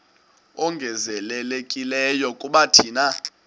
ongezelelekileyo kuba thina